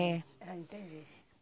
É. Ah, entendi.